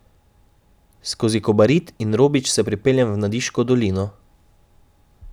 Skozi Kobarid in Robič se pripeljem v Nadiško dolino.